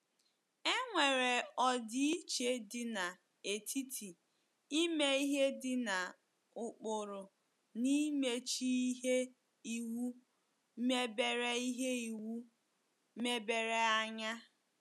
E nwere ọdịiche dị n’etiti ime ihe dị na ụkpụrụ na imechi ihe iwu mebere ihe iwu mebere anya.